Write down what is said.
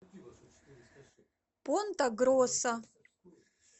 понта гроса